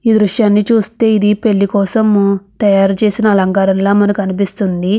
ఈ దృశ్యాన్ని చూస్తే ఇది పెళ్లి కోసం తయారు చేసిన అలంకారంలా మనకు అనిపిస్తుంది.